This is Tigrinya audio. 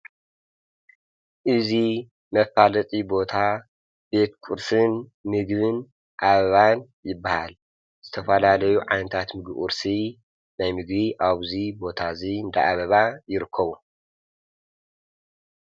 እዙይ መፋልጢ ቦታ ቤድኩርስን ሚግብን ኣብባን ይበሃል ዝተፋላ ለዩ ዓንታት ምግኡርሲ ናይ ምግ ኣብዙይ ቦታ እዙይ ደኣበባ ይርከቡ።